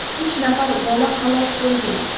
uch nafar bola halok bo‘lgan.